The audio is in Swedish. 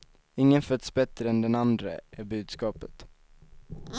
Ingen föds bättre än den andre är budskapet.